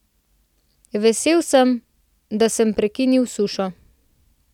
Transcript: Vesel sem, da sem prekinil sušo.